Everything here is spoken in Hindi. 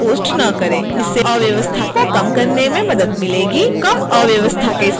कम अव्यवस्था के साथ हम इन चर्चाओं को निर्देशन सामग्री के रूप में प्रयोग कर सकते हैं